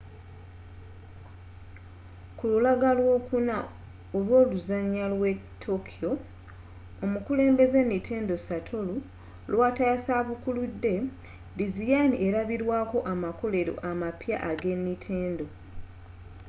kululaga lw'olwokuna olw'oluzanya lw'etokyo omukulembeze nintendo satoru iwata yasabukulude dizayini elabirwaako amakolero amapya eg'e nintendo